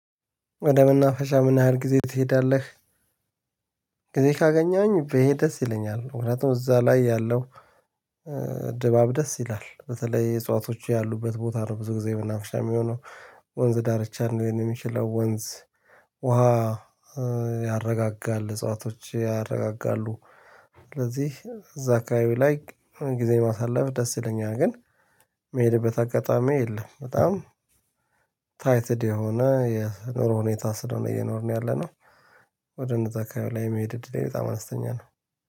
ወደ መናፈሻ ምን ያህል ጊዜ ትሄዳለህ? ጊዜ ካገኝኝ፣ ብሄድ ደስ ይለኛል። ሁለቱም እዛ ላይ ያለው ኤ ድባብ ደስ ይላል። በተለይ እጽዋቶቹ ያሉበት ቦታ ነው። ብዙ ጊዜ መናፈሻ የሚሆነው ወንዝ ዳርቻ ሚችለው፣ ወንዝ ውሃ እ ያረጋጋል። እጽዋቶች ያረጋጋሉ። ስለዚህ፣ እዛ አካባቢ ላይ ጊዜ ማሳለፍ ደስ ይለኛል። ግን የምሄድበት አጋጣሚ የለም፤ በጣም ታይትድ የሆነ የኑሮ ሁኔታ ስለሆነ የኖርነው፣ ያለነው ወደ እነዛ አካባቢ ላይ መሄድ እድል በጣም አነስተኛ ነው።